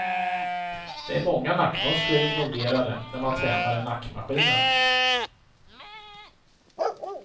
Det är många nackmuskler involverade när man tränar i nackmaskinen.